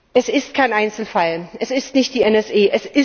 Es ist kein Einzelfall. Es ist nicht die NSA.